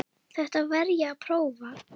Þetta verð ég að prófa